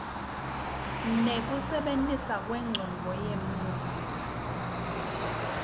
nekusebenta kwencondvo yemuntfu